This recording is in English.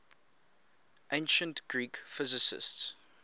ancient greek physicists